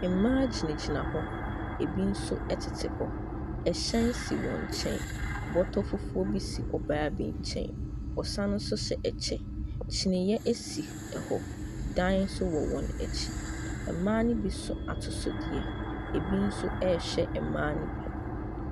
Mbaa gyinagyina hɔ, ebi so ɛtete hɔ, ɛhyɛn si wɔn kyɛn. Bɔtɔ fufuuo bi si ɔbaa bi kyɛn. Ɔsan so hyɛ ɛkyɛ, kyiniiɛ esi ɛhɔ. Dan so wɔ wɔn ekyi. Mbaa ne bi so atosodeɛ, ebi so ɛɛhwɛ mbaa ne bi.